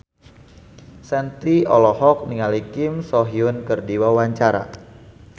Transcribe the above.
Shanti olohok ningali Kim So Hyun keur diwawancara